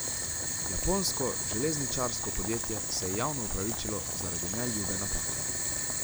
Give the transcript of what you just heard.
Japonsko železničarsko podjetje se je javno opravičilo zaradi neljube napake.